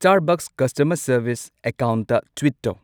Starbucks customer service ꯑꯦꯀꯥꯎꯟꯠꯇ tweet ꯇꯧ